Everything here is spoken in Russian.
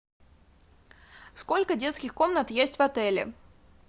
сколько детских комнат есть в отеле